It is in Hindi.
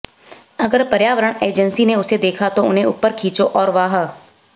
अगर पर्यावरण एजेंसी ने उसे देखा तो उन्हें ऊपर खींचो और वाह